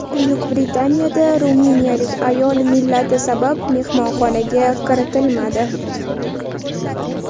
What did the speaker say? Buyuk Britaniyada ruminiyalik ayol millati sabab mehmonxonaga kiritilmadi.